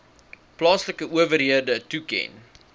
plaaslike owerhede toeken